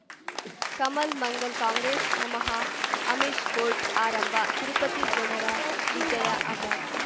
Kamal Mangal Congress ನಮಃ Amish court ಆರಂಭ ತಿರುಪತಿ ಜನರ ವಿಜಯ ಅಮರ್